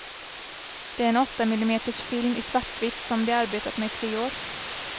Det är en åttamillimeters film i svartvitt, som de arbetat med i tre år.